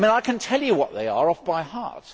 I can tell you what they are, off by heart.